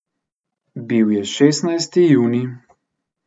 Bil je šestnajsti junij.